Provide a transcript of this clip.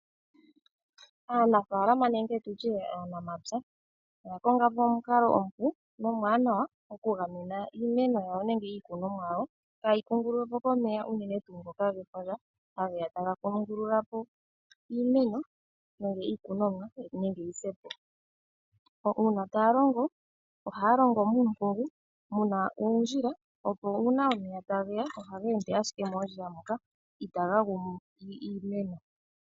Aanafaalama nenge tutye aanamapya oya konga po omukalo omupu nomwaanawa okagamena iimeno yawo nenge iikunomwa yawo kaayi kungululwe po komeya unene tuu ngoka gefundja, hage ya taga kungulula po iimeno nenge iikunomwa. Uuna taya longo, ohaya longo muumpungu mu na oondjila, opo uuna omeya tage ya ohaga ende owala moondjila moka, go itaga gumu iimeno.